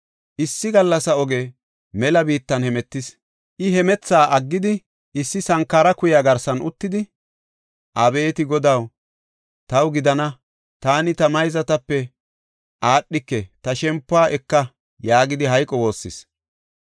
Issi gallasa oge mela biittan hemetis. I hemethaa aggidi issi sankara kuya garsan uttidi, “Abeeti Godaw, taw gidana; taani ta mayzatape aadhidike; ta shempuwa eka” yaagidi hayqo woossis.